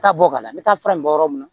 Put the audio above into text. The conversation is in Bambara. Taa bɔ ka na n bɛ taa fura in bɔ yɔrɔ min na